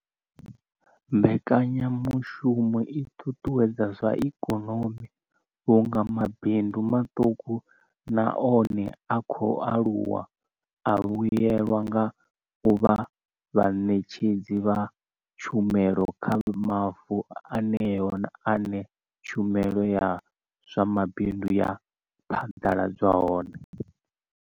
Mbekanyamushumo i ṱuṱuwedza zwa ikonomi vhunga mabindu maṱuku na one a khou aluwa a vhuelwa nga u vha vhaṋetshedzi vha tshumelo kha mavundu eneyo ane tshumelo ya zwa mabindu ya phaḓaladzwa hone.